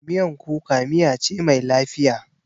Miyan kuka miya ce mai lafiya.